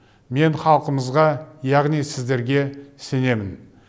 мен халқымызға яғни сіздерге сенемін